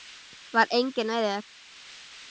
Hvað eigið þér við?